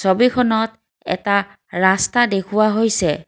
ছবিখনত এটা ৰাস্তা দেখুওৱা হৈছে।